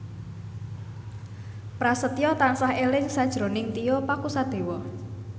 Prasetyo tansah eling sakjroning Tio Pakusadewo